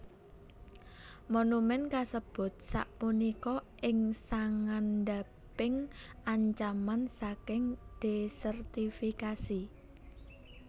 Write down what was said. Monumen kasebut sapunika ing sangandhaping ancaman saking desertifikasi